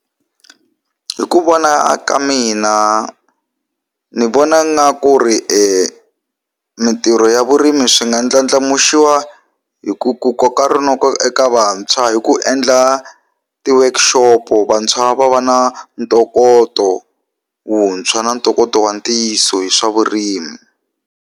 Hi ku vona ka mina ndzi vona ngaku ri mintirho ya vurimi swi nga ndlandlamuxiwa hi ku ku koka rinoko eka vantshwa hi ku endla ti work shop-o vantshwa va va na ntokoto wuntshwa na ntokoto wa ntiyiso hi swa vurimi.